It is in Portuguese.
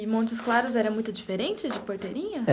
E Montes Claros era muito diferente de Porteirinha?